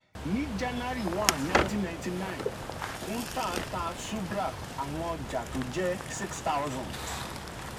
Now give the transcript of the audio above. ní january one nineteen ninety nine kuntal ta subhra àwọn ọjà tó jẹ́ six thousand.